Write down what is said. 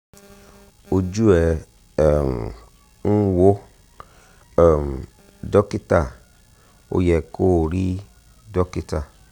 ojú ẹ̀ um ń wò um dókítà ó yẹ kó o rí dókítà